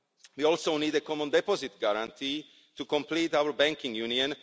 We also need a common deposit guarantee to complete our banking union.